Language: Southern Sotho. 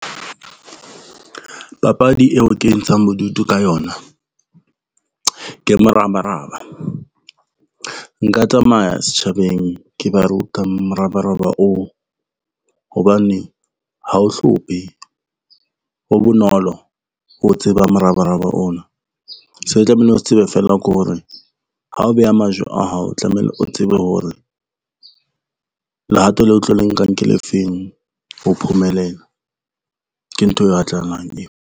Papadi eo ke ntshang bodutu ka yona ke morabaraba. Nka tsamaya setjhabeng ke ba ruta morabaraba oo hobane, ha o hlomphe, o bonolo ho tseba morabaraba ono. Se re tlamehile o se tsebe fela ko re ha o beha majwe a hao tlamehile o tsebe hore, lehato leo tlo le nkang ke le feng ho phumelela, ke ntho e batlahalang eo.